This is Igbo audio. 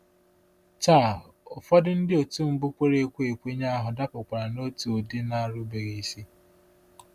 Taa, ụfọdụ ndị otu mbụ kwere ekwe ekwenye ahụ dapụkwara n’otu ụdị nà-erubeghị isi.